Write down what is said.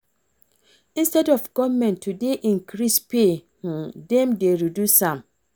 Instead of government to dey increase pay dem dey reduce am